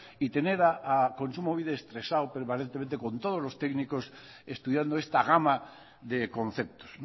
y tener a kontsumobide estresado permanentemente con todos los técnicos estudiando esta gama de conceptos